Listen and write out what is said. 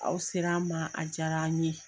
Aw ser'an ma, a diyar'an ye.